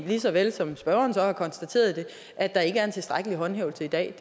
lige så vel som spørgeren har konstateret at der ikke er en tilstrækkelig håndhævelse i dag